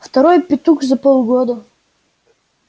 второй петух за полгода